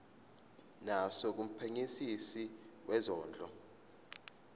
naso kumphenyisisi wezondlo